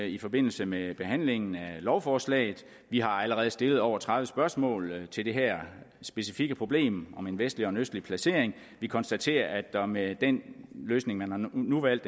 i forbindelse med behandlingen af lovforslaget vi har allerede stillet over tredive spørgsmål til det her specifikke problem om en vestlig eller en østlig placering vi konstaterer at der med den løsning der nu er valgt